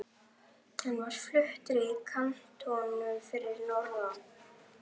Hann var fluttur í kantónu fyrir norðan.